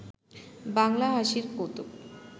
বাংলা হাসির কৌতুক